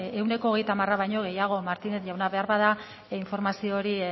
ehuneko hogeita hamara baino gehiago martínez jauna beharbada informazio hori